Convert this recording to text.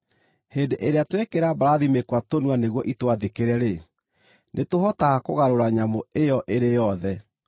Hĩndĩ ĩrĩa twekĩra mbarathi mĩkwa tũnua nĩguo itwathĩkĩre-rĩ, nĩtũhotaga kũgarũra nyamũ ĩyo ĩrĩ yothe.